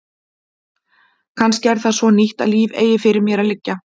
Kannski er það svo að nýtt líf eigi fyrir mér að liggja.